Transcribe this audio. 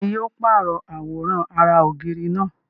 Bẹ́ẹ̀ni, yóò pàrọ̀ àwòrán ara ògiri náà